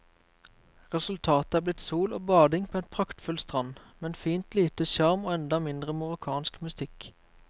Resultatet er blitt sol og bading på en praktfull strand, men fint lite sjarm og enda mindre marokkansk mystikk.